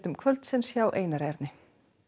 kvöldsins hjá Einar Erni